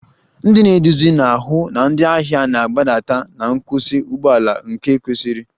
Ndị na-eduzi na-ahụ na ndị ahịa na-agbadata na nkwụsị ụgbọ ala nke kwesiri